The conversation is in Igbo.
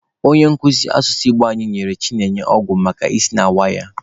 Onye nkuzi asụsụ Igbo anyị nyere Chinenye ọgwụ maka isi na-awa ya.